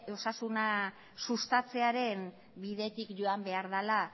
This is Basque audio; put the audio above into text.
osasuna sustatzearen bidetik joan behar dela